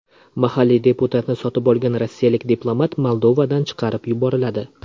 Mahalliy deputatni sotib olgan rossiyalik diplomat Moldovadan chiqarib yuboriladi.